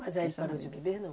Mas aí ele parou de beber, não?